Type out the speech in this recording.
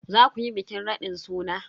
Za ku yi bikin raɗin suna?